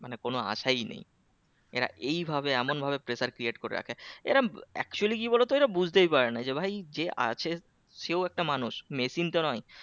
মানে কোনো আশায় নেই এরা এই ভাবে এমন ভাবে pressure create করে রাখে এরা actually কি বলতো? এরা বুঝতেই পারে না যে ভাই যে আছে সেই একটা মানুষ মেশিন তো নয়